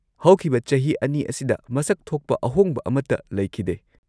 -ꯍꯧꯈꯤꯕ ꯆꯍꯤ ꯲ ꯑꯁꯤꯗ ꯃꯁꯛ ꯊꯣꯛꯄ ꯑꯍꯣꯡꯕ ꯑꯃꯠꯇ ꯂꯩꯈꯤꯗꯦ ꯫